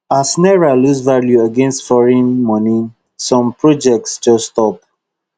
as naira lose value against foreign money some projects just stop